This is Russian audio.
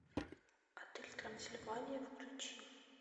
отель трансильвания включи